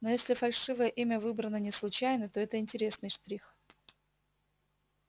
но если фальшивое имя выбрано не случайно то это интересный штрих